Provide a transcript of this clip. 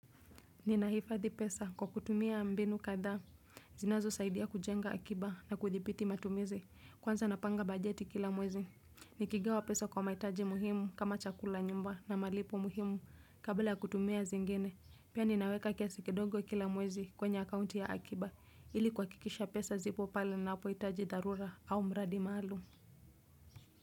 Ninahifadhi pesa kwa kutumia mbinu kadhaa. Zinazosaidia kujenga akiba na kudhibiti matumizi. Kwanza napanga bajeti kila mwezi. Nikigawa pesa kwa mahitaji muhimu kama chakula, nyumba, na malipo muhimu kabla ya kutumia zingine. Pia ninaweka kiasi kidogo kila mwezi kwenye akaunti ya akiba. Ili kuhakikisha pesa zipo pala ninapohitaji dharura au mradi maalum.